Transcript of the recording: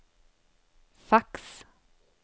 fax